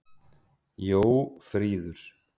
Jófríður